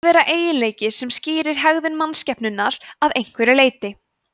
að vera eiginleiki sem skýrir hegðan mannskepnunnar að einhverju leyti